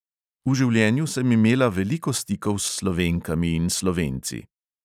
V življenju sem imela veliko stikov s slovenkami in slovenci.